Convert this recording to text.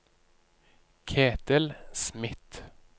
Ketil Smith